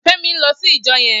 Femi n lò sí ijò yèn